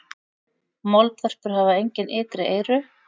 Moldvörpur hafa engin ytri eyru.